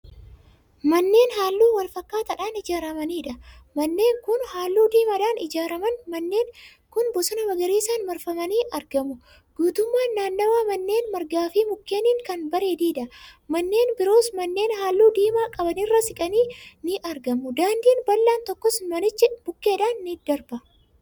Manneen halluu walfakkaataadhaan ijaaramaniidha. manneen Kuni halluu diimadhaan ijaaaraman. manneen Kuni bosona magariisaan marfamanii argamu. guutummaan naannawa maneenii margaafi mukkeeniin Kan bareedeedha. manneen biroos manneen halluu diimaa qabanirraa siiqanii ni argamu. daandiin bal'aan tokkos manicha bukkeedhaan darba.